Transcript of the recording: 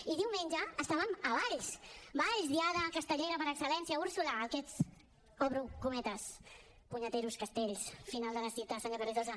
i diumenge estàvem a valls valls diada castellera per excel·lència úrsula en aquests obro cometes puñeteros castells final de la cita senyor carrizosa